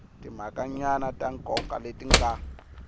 timhakanyana ta nkoka leti nga